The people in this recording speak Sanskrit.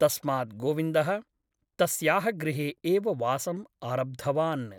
तस्मात् गोविन्दः तस्याः गृहे एव वासम् आरब्धवान् ।